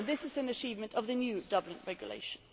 This is an achievement of the new Dublin Regulation.